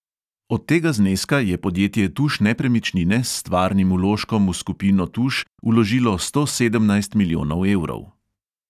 Od tega zneska je podjetje tuš nepremičnine s stvarnim vložkom v skupino tuš vložilo sto sedemnajst milijonov evrov.